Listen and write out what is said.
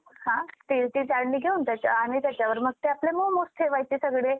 steelची चाळणी घेऊन त्याच्या आणि त्याच्यावर मग ते आपले मोमोज ठेवायचे सगळे.